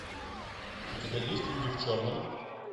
у тебя есть люди в черном